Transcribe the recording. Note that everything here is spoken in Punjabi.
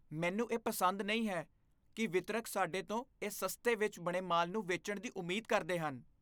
ਮੈਨੂੰ ਇਹ ਪਸੰਦ ਨਹੀਂ ਹੈ ਕਿ ਵਿਤਰਕ ਸਾਡੇ ਤੋਂ ਇਹ ਸਸਤੇ ਵਿੱਚ ਬਣੇ ਮਾਲ ਨੂੰ ਵੇਚਣ ਦੀ ਉਮੀਦ ਕਰਦੇ ਹਨ।